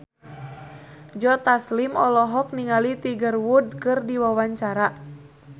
Joe Taslim olohok ningali Tiger Wood keur diwawancara